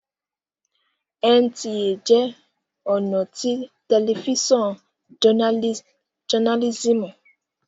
NTA jẹ́ ọ̀nà tí tẹlifísàn jọnálísìmù